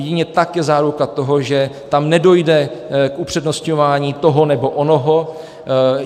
Jedině tak je záruka toho, že tam nedojde k upřednostňování toho nebo onoho.